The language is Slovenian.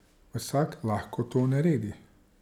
Vsak lahko to naredi.